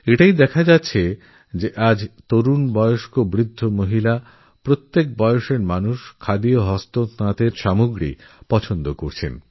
এটাদেখা যাচ্ছে যে আজ তরুণরা প্রবীণবৃদ্ধরা মহিলারা প্রত্যেক বয়সসীমার মানুষখাদি আর হ্যান্ডলুম পছন্দ করছে